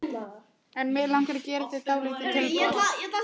En mig langar að gera þér dálítið tilboð.